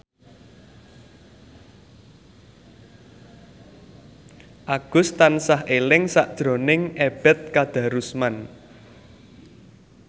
Agus tansah eling sakjroning Ebet Kadarusman